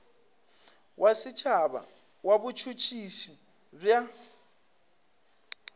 wa setšhaba wa botšhotšhisi bja